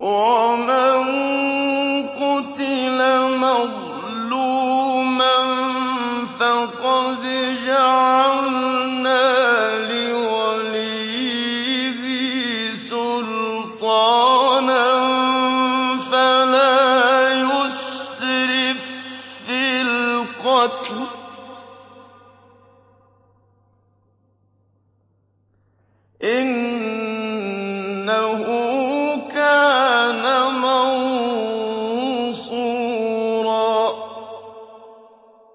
وَمَن قُتِلَ مَظْلُومًا فَقَدْ جَعَلْنَا لِوَلِيِّهِ سُلْطَانًا فَلَا يُسْرِف فِّي الْقَتْلِ ۖ إِنَّهُ كَانَ مَنصُورًا